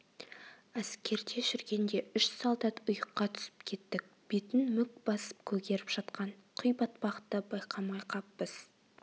әскерде жүргенде үш солдат ұйыққа түсіп кеттік бетін мүк басып көгеріп жатқан құйбатпақты байқамай қаппыз